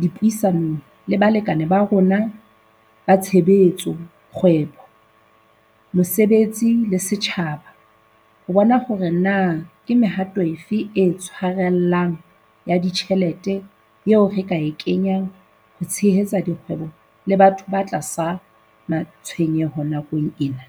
dipuisanong le balekane ba rona ba tshebetso, kgwebo, mosebetsi le setjhaba ho bona hore na ke mehato e fe e tshwarellang ya ditjhelete eo re ka e kenyang ho tshehetsa dikgwebo le batho ba tlasa matshwenyeho nakong ena.